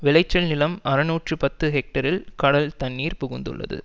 விளைச்சல் நிலம் அறுநூற்று பத்து ஹெக்டேரில் கடல் தண்ணீர் புகுந்துள்ளது